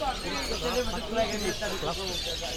-পরীক্ষা না থাকলেও তিনি এক্সট্রা ক্লাস নেন।